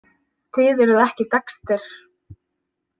Þið eruð ekki Dexter.